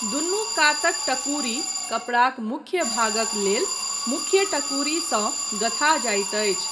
दुनू कातक टकुरी कपड़ाक मुख्य भागक लेल मुख्य टकुरीसँ गँथा जाइत अछि।